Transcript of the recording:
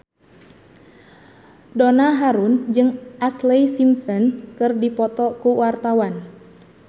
Donna Harun jeung Ashlee Simpson keur dipoto ku wartawan